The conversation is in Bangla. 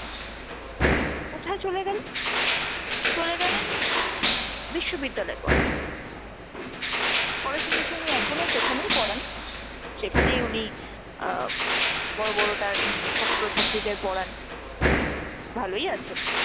বিশ্ববিদ্যালয় পড়াতে। পরে শুনেছি উনি এখনো সেখানেই পড়ান, সেখানেই উনি আহ বড় বড় তার ছাত্র-ছাত্রীদের পড়ান, ভালোই আছেন।